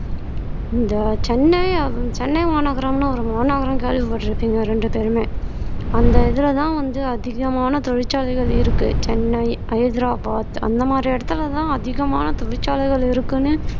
இந்த சென்னை சென்னை மாநகரம்ன்னு ஒரு மாநகரம் கேள்விப்பட்டிருப்பீங்க ரெண்டு பேருமே அந்த இதுலதான் வந்து அதிகமான தொழிற்சாலைகள் இருக்கு சென்னை ஹைதராபாத் அந்த மாதிரி இடத்துலதான் அதிகமான தொழிற்சாலைகள் இருக்குன்னு